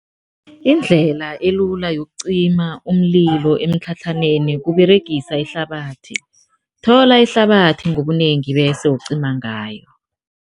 Indlela elula yokucima umlilo emitlhatlhaneni kUberegisa ihlabathi, thola ihlabathi ngobunengi bese ucima ngayo.